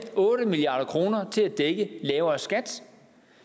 otte milliard kroner til at dække lavere skat